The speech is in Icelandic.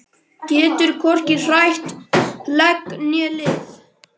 Getur hvorki hrært legg né lið.